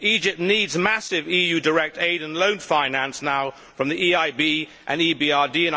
Egypt needs massive EU direct aid and loan finance now from the EIB and EBRD.